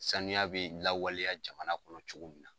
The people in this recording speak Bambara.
Sanuya bi lawaleya jamana kɔnɔ cogo min na.